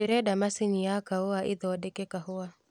ndĩrenda macini ya kaũa ĩthondeke kahũa